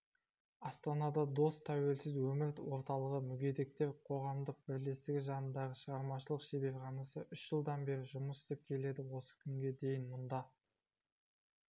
астанада дос тәуелсіз өмір орталығы мүгедектер қоғамдық бірлестігі жанындағы шығармашылық шеберханасы үш жылдан бері жұмыс істеп келеді осы күнге дейін мұнда